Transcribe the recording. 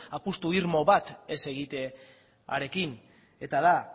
apustu irmo bat ez egitearekin eta da